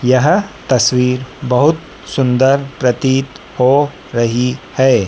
यह तस्वीर बहुत सुंदर प्रतीत हो रही है।